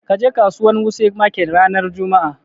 Kaje kasuwan wuse market ran juma'a!